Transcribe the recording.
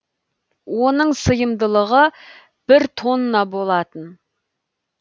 оның сыйымдылығы бір тонна болатын